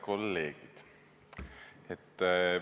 Head kolleegid!